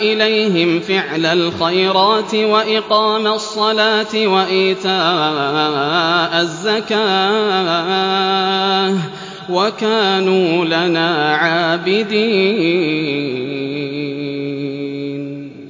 إِلَيْهِمْ فِعْلَ الْخَيْرَاتِ وَإِقَامَ الصَّلَاةِ وَإِيتَاءَ الزَّكَاةِ ۖ وَكَانُوا لَنَا عَابِدِينَ